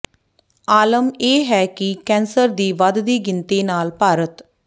ਆਲਮ ਇਹ ਹੈ ਕਿ ਕੈਂਸਰ ਦੀ ਵੱਧਦੀ ਗਿਣਤੀ ਨਾਲ ਭਾਰਤ